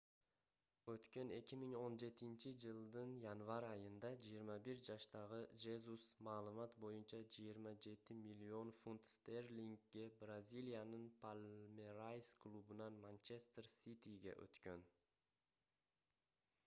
өткөн 2017-жылдын январь айында 21 жаштагы жезус маалымат боюнча 27 миллион фунт стерлингге бразилиянын палмерайс клубунан манчестер ситиге өткөн